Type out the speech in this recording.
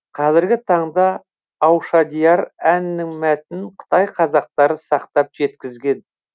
қазіргі таңда аушадияр әнінің мәтінін қытай қазақтары сақтап жеткізген